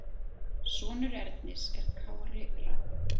Sonur Ernis er Kári Rafn.